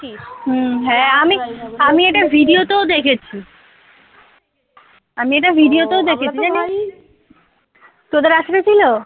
হ্যাঁ আমি আমি এটা video তেও দেখেছি। আমি এটা video তেও দেখেছি কী জানি তোদের আঁচরেছিল?